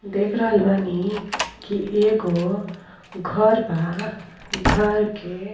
देख रहल बानी कि एगो घर बा घर के --